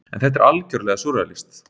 En þetta er algjörlega súrrealískt.